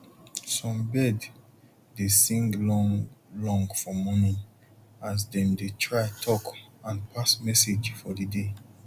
some bird dey sing long long for morning as dem dey try talk and pass message for the day